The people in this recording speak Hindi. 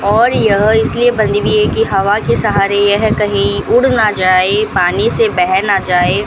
और यह इसलिए बंधी हुई है की हवा के सहारे यह कहीं उड़ ना जाए पानी से बेह न जाए।